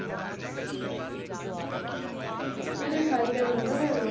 ਉਦੇ ਸਾਰਿਕਾ ਦੇ ਮੁੰਡਾ ਹੋਇਆ ਵਾਂ